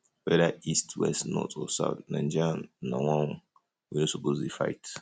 whether east west north or south naija na one we no suppose dey fight